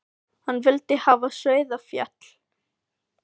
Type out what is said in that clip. Hann vildi hafa Sauðafell sér til frjálsra umráða.